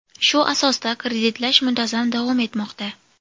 Shu asosda kreditlash muntazam davom etmoqda.